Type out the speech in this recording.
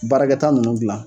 Baarakɛta ninnu dilan.